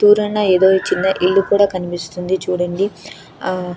దూరాన యేదో చిన్న ఇల్లు కూడా కనిపిస్తుంది చూడండి ఆ --